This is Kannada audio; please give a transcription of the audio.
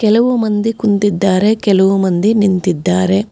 ಕೆಲವು ಮಂದಿ ಕುಂತಿದ್ದಾರೆ ಕೆಲವು ಮಂದಿ ನಿಂತಿದ್ದಾರೆ.